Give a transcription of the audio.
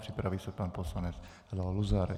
Připraví se pan poslanec Leo Luzar.